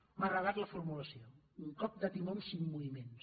m’ha agradat la formulació un cop de timó en cinc moviments